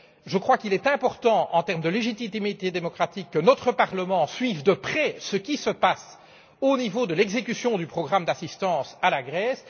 Je crois qu'il est important, en termes de légitimité démocratique, que notre Parlement suive de près ce qui se passe au niveau de l'exécution du programme d'assistance à la